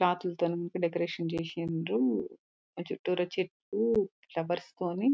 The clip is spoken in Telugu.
క్లాత్ లతోని డెకరేషన్ చేసిన్రు. ఆహ్ చుట్టురా చెట్లు ఫ్లవర్స్ తోని--